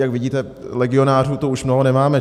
Jak vidíte, legionářů tu už mnoho nemáme.